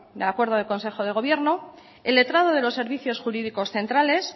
el acuerdo del consejo de gobierno el letrado de los servicios jurídicos centrales